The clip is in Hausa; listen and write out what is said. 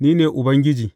Ni ne Ubangiji.